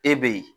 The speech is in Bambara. E be ye